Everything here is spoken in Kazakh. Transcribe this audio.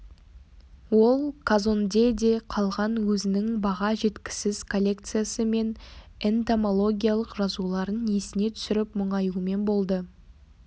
ол казондеде қалған өзінің баға жеткісіз коллекциясы мен энтомологиялық жазуларын есіне түсіріп мұңаюмен болды